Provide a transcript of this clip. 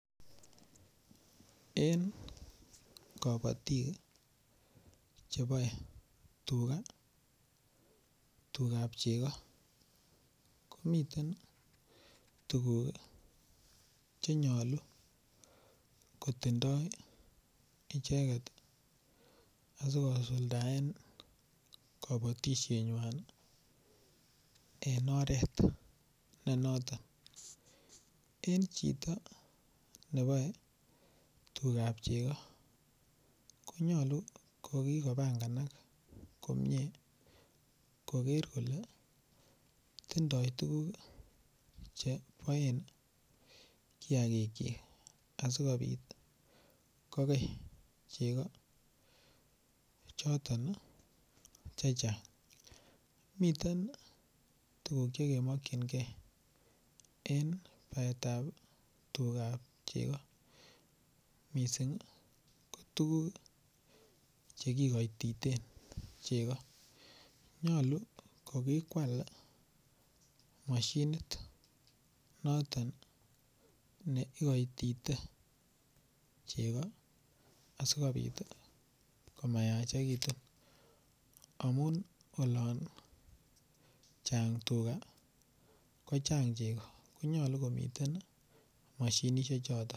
Eng kobotik cheboe tuga, tugap chego komiten tukuk chenyolu kotindoi icheket asikosuldaen kobotishet nywan en oret ne noton en chito nepoe tugap cheko konyolu kokikopanganak komie koker kole tindoi tukuk cheboen kiakik chi asikobit kokey cheko choton che chang miten tukuk chekemakchin gei en baet ap tugap chego missing ko tukuk chekikoititen chego nyolu ko kikoal mashinit noton ne ikoitite chego asikobit komayachekitu amun olon chang tuga ko chang chego ko nyolu komiten mashinishek choton.